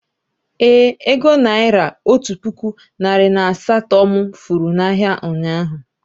Ee, ego naira otu puku narị na asaa to mụ furu na ahịa, ụnyaahụ